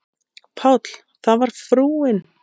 PÁLL: Það var frúin.